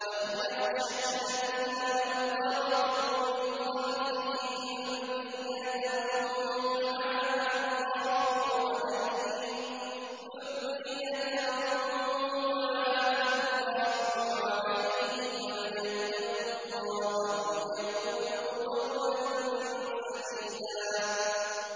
وَلْيَخْشَ الَّذِينَ لَوْ تَرَكُوا مِنْ خَلْفِهِمْ ذُرِّيَّةً ضِعَافًا خَافُوا عَلَيْهِمْ فَلْيَتَّقُوا اللَّهَ وَلْيَقُولُوا قَوْلًا سَدِيدًا